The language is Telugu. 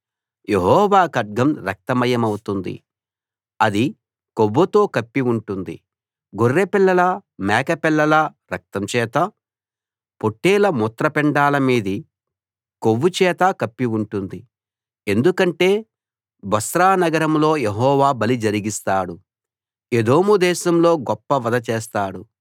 యెహోవా ఖడ్గం రక్తమయమవుతుంది అది కొవ్వుతో కప్పి ఉంటుంది గొర్రెపిల్లల మేకల రక్తం చేతా పొట్లేళ్ల మూత్రపిండాల మీది కొవ్వు చేతా కప్పి ఉంటుంది ఎందుకంటే బొస్రా నగరంలో యెహోవా బలి జరిగిస్తాడు ఎదోము దేశంలో గొప్ప వధ చేస్తాడు